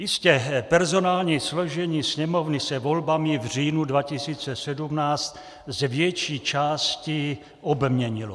Jistě, personální složení Sněmovny se volbami v říjnu 2017 z větší části obměnilo.